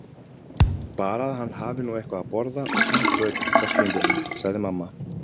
Bara að hann hafi nú eitthvað að borða og hlý föt, veslingurinn, sagði mamma.